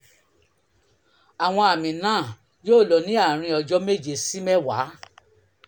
àwọn àmì náà yóò lọ ní àárín ọjọ́ méje sí mẹ́wàá